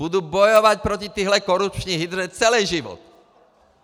Budu bojovat proti téhle korupční hydře celý život.